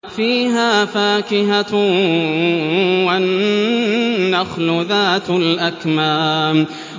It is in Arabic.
فِيهَا فَاكِهَةٌ وَالنَّخْلُ ذَاتُ الْأَكْمَامِ